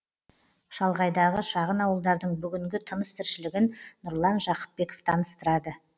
шалғайдағы шағын ауылдардың бүгінгі тыныс тіршілігін нұрлан жақыпбеков таныстырады